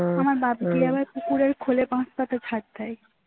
আমার বাপ্ গিয়ে আবার কুকুরের খোলে বস্তাতে ঝড় দেয়